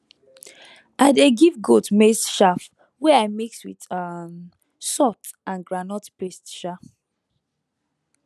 i dey give goat maize chaff wey i mix with um salt and groundnut paste [sha]